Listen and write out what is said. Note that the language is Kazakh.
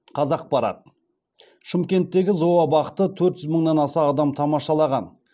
қазақпарат шымкенттегі зообақты төрт жүз мыңнан аса адам тамашалаған